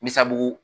Misabu